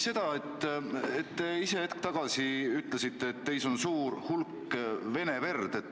Te ise hetk tagasi ütlesite, et teis on suur hulk vene verd.